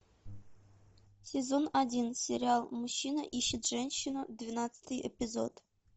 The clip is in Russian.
сезон один сериал мужчина ищет женщину двенадцатый эпизод